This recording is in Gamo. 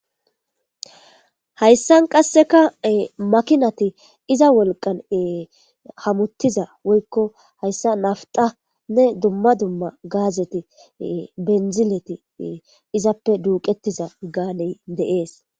Hayssan qasseka makinati iza wolqan hamuttiza woykko hayssa naftanne dumma dumma gaazeti benzileti izappe duuqettiza gaaney deees.